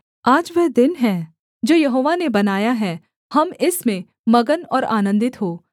आज वह दिन है जो यहोवा ने बनाया है हम इसमें मगन और आनन्दित हों